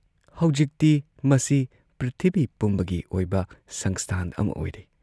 ꯍꯧꯖꯤꯛꯇꯤ ꯃꯁꯤ ꯄ꯭ꯔꯤꯊꯤꯕꯤ ꯄꯨꯝꯕꯒꯤ ꯑꯣꯏꯕ ꯁꯪꯁꯊꯥꯟ ꯑꯃ ꯑꯣꯏꯔꯦ ꯫